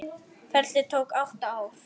Ferlið tók átta ár.